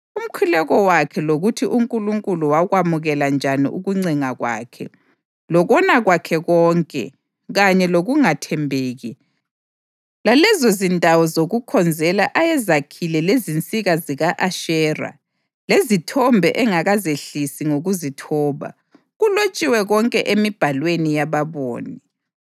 Umkhuleko wakhe lokuthi uNkulunkulu wakwamukela njani ukuncenga kwakhe, lokona kwakhe konke, kanye lokungathembeki, lalezozindawo zokukhonzela ayezakhile lezinsika zika-Ashera lezithombe engakazehlisi ngokuzithoba, kulotshiwe konke emibhalweni yababoni.